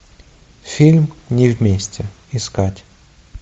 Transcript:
фильм не вместе искать